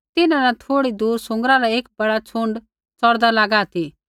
तिन्हां न थोड़ी दूर सूँगरा रा एक बड़ा छ़ुण्ड च़ौरदा लागा ती